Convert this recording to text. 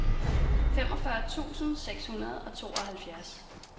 femogfyrre tusind seks hundrede og tooghalvfjerds